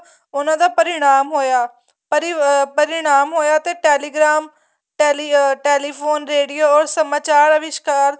ਉਹਨਾ ਦਾ ਪਰਿਣਾਮ ਹੋਇਆ ਪਰਿਣਾਮ ਹੋਇਆ ਤੇ telegram telephone radio or ਸਮਾਚਾਰ ਅਵਿਸ਼੍ਕਾਰ